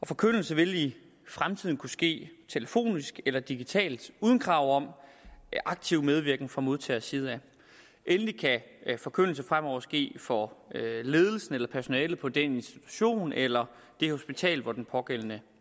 forkyndelse vil i fremtiden kunne ske telefonisk eller digitalt uden krav om aktiv medvirken fra modtagerside af endelig kan forkyndelse fremover ske for ledelsen eller personalet på den institution eller det hospital hvor den pågældende